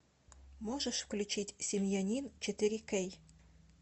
можешь включить семьянин четыре кей